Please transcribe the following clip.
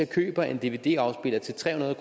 køber en dvd afspiller til tre hundrede